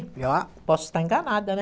posso estar enganada, né?